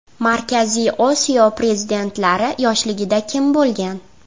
Markaziy Osiyo prezidentlari yoshligida kim bo‘lgan?